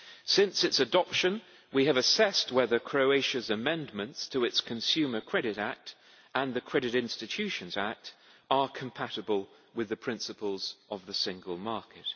Since its adoption, we have assessed whether Croatia's amendments to its Consumer Credit Act and the Credit Institutions Act are compatible with the principles of the single market.